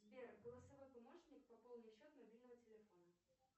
сбер голосовой помощник пополни счет мобильного телефона